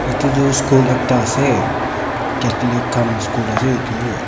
etu tu school ekta ase chatholic khan school ase etu--